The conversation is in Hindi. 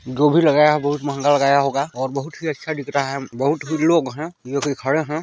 जो भी लगा है बहुत महंगा का होगा और बहुत ही अच्छा दिख रहा है बहुत ही लोग है ये भी खड़े है।